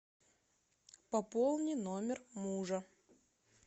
пополни номер мужа